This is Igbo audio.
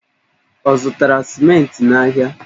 Ọ zụtara simenti n'ahịa?